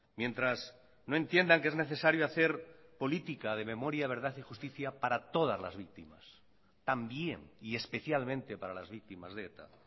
mientras no entiendan que es necesario hacer política de memoria verdad y justicia para todas las víctimas también y especialmente para las víctimas de eta